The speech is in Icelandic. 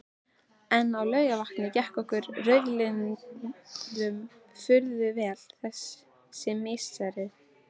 En á Laugarvatni gekk okkur rauðliðum furðu vel þessi misserin.